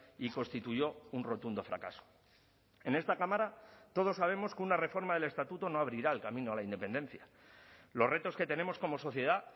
y constituyó un rotundo fracaso en esta cámara todos sabemos que una reforma del estatuto no abrirá el camino a la independencia los retos que tenemos como sociedad